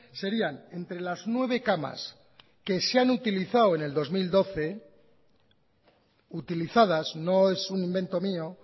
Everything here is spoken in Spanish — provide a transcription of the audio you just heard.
serían entre las nueve camas que se han utilizado en el dos mil doce utilizadas no es un invento mío